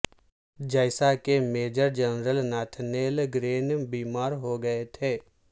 جیسا کہ major general Nathaniel Greene بیمار ہوگئے تھے